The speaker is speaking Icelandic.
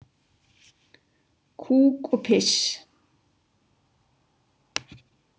Kúk og piss.